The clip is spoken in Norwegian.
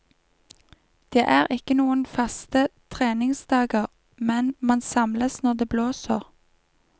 Det er ikke noen faste treningsdager men man samles når det blåser.